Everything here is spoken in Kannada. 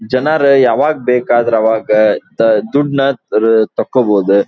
ಜನರು ಯಾವಾಗ್ ಬೇಕಾದ್ರೆ ಅವಾಗ್ ಅಹ್ ದುಡ್ಡ್ ನ ತಾಕೋಬೋದು.